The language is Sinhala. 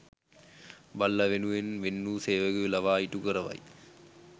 බල්ලා වෙනුවෙන්ම වෙන්වූ සේවකයකු ලවා ඉටු කරවයි